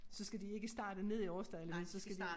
Så skal de ikke starte nede i Aarsdale vel så skal de